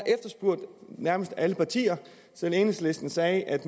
nærmest alle partier selv enhedslisten sagde at